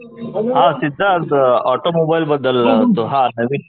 हां सिद्धार्थ ऑटोमोबाईल बद्दल हां